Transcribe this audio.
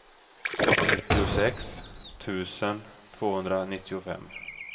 nittiosex tusen tvåhundranittiofem